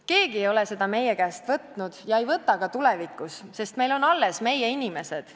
Keegi ei ole seda meie käest võtnud ega võta ka tulevikus, sest meil on alles meie inimesed.